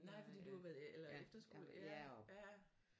Nej fordi du har været eller efterskole ja ja